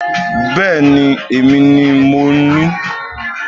Bẹ́ẹ̀ni èmi ni mo ní